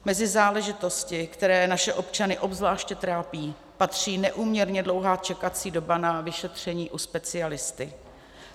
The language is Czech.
Mezi záležitosti, které naše občany obzvlášť trápí, patří neúměrně dlouhá čekací doba na vyšetření u specialisty.